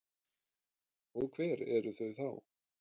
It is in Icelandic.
Og hver eru þau þá?